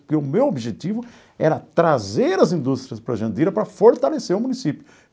Porque o meu objetivo era trazer as indústrias para Jandira para fortalecer o município.